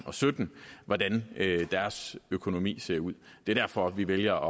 og sytten hvordan deres økonomi ser ud det er derfor vi vælger